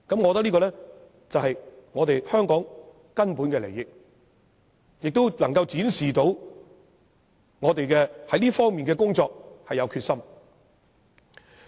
我認為這是香港根本的利益，而且能夠展示我們對這方面的工作是有決心的。